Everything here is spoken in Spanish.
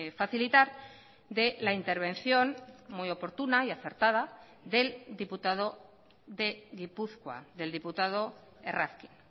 facilitar de la intervención muy oportuna y acertada del diputado de gipuzkoa del diputado errazkin